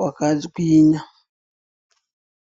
hwakagwinya.